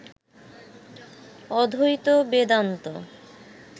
অদ্বৈত বেদান্ত